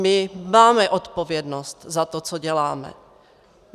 My máme odpovědnost za to, co děláme.